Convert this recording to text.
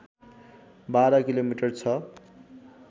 १२ kilometre छ